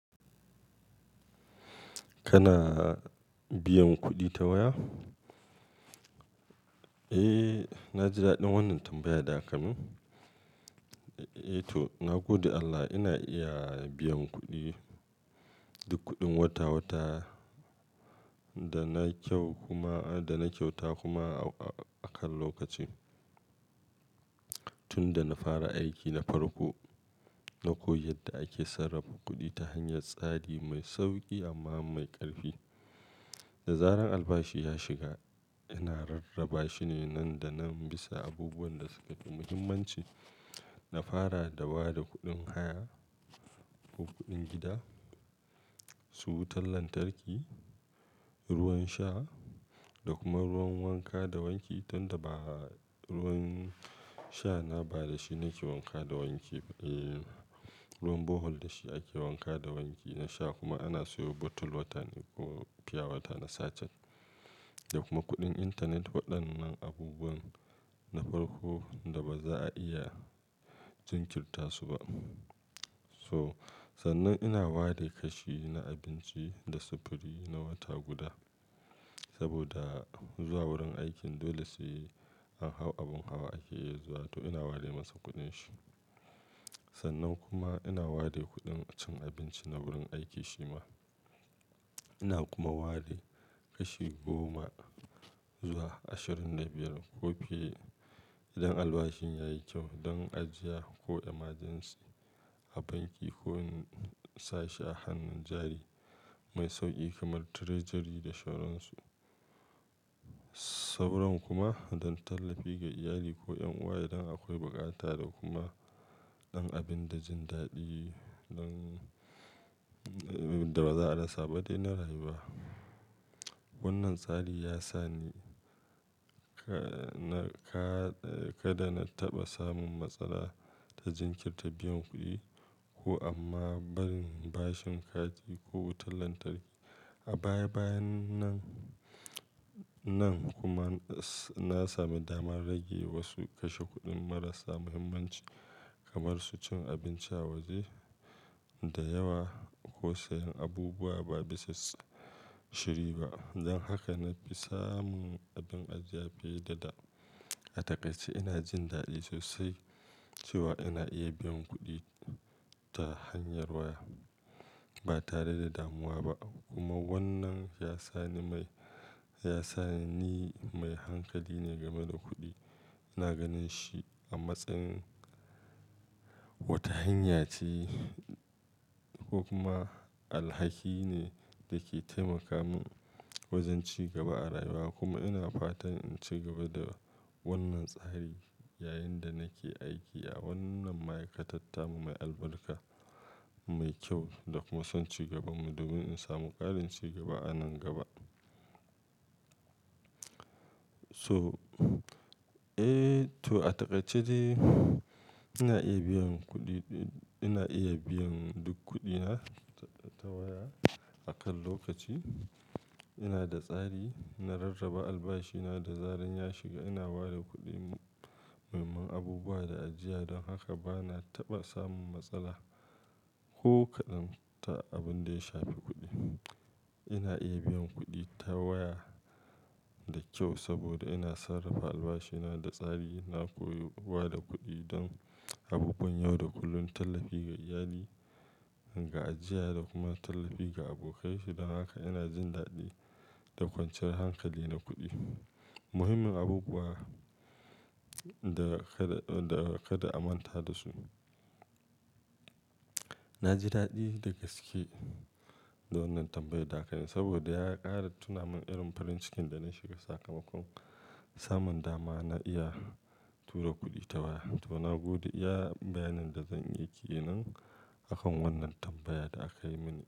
Kana biyan kuɗi ta waya? Eh, na ji daɗin wannan tambayar da aka min. Eh to, na gode Allah ina iya biyan kuɗi, duk kuɗin wata-wata da na kyauta kuma a kan lokaci. Tunda na fara aiki na farko, na koyi yadda ake sarrafa kuɗi ta hanyar tsari mai sauƙi amma mai ƙarfi. Da zaran albashi ya shiga, ina rarraba shi ne nan da nan bisa abubuwan da suka fi muhimmanci. Na fara da ba da kuɗin haya ko kuɗin gida, su wutar lantarki, ruwan sha da kuma ruwan wanka da wanki. Tunda ba ruwan sha na ba da shi nake wanka da wanki. Eh, ruwan bohol da shi ake wanka da wanki na sha kuma ana siyo bottle wata ko fiya wata na sacet. Da kuma kuɗin intanet waɗannan abubuwan na farko da ba za a iya jinkirta su ba. So, sannan ina ware kashi na abinci da sufuri na wata guda. Saboda zuwa wurin aikin dole sai an hau abin hawa ake zuwa to ina ware masa kuɗin shi. Sannan kuma ina ware kuɗin cin abinci na wurin aiki shima. Ina kuma ware kashi goma zuwa ashirin da biyar ko fi, idan albashin yayi kyau don ajiya ko emergency a banki ko in sashi a hannun jari mai sauƙi kamar treasury da shauran su. Sauran kuma don tallafi ga iyali ko 'yan uwa idan akwai bukata da kuma ɗan abin da jin daɗi don da ba za a rasa ba dai na rayuwa. Wannan tsari ya sa ni, kada na taɓa samun matsala ta jinkirta biyan kuɗi ko amma barin bashin kati ko wutar lantarki. A baya-bayan nan kuma na sami dama na rage wasu kashe kuɗin marasa muhimmanci kamar su cin abinci a waje da yawa ko sayan abubuwa ba bisa shiri ba. Don haka na fi samun abin ajiya fiye da da. A takaice ina jin daɗi sosai cewa ina iya biyan kuɗi ta hanyar waya ba tare da damuwa ba. Kuma wannan ya sa ni mai hankali ne game da kuɗi. Ina ganin shi a matsayin wata hanya ce kuma alhaki ne da ke taimaka min wajen ci gaba a rayuwa. Kuma ina fatan in ci gaba da wannan tsari yayin da nake aiki a wannan ma'aikatata mai albarka, mai kyau da kuma son cigaba. Domin in samu ƙarin cigaba a nan gaba. So, eh to a takaice dai ina iya biyan kuɗi, ina iya biyan duk kuɗina ta waya a kan lokaci. Ina da tsari, na rarraba albashina da zaran ya shiga. Ina ba da kuɗi muhimman abubuwa da ajiya. Don haka ba na taɓa samun matsala ko kaɗan ta abin da ya shafi kuɗi. Ina iya biyan kuɗi ta waya da kyau saboda ina sarrafa albashina da tsari. Na koyi ba da kuɗi don abubuwan yau da kullum, tallafi ga iyali, ga ajiya da kuma tallafi ga abokai. Don haka ina jin daɗi da ƙwanciyan hankali na kuɗi. Muhimmin abubuwa da kada a manta da su. Na ji daɗi da gaske da wannan tambayar da aka yi saboda ya ƙara tuna min irin farin cikin da na shiga sakamakon samun dama na iya tura kuɗi ta waya. To na gode iya bayanin da zan yi ke nan akan wannan tambayar da aka yi mini.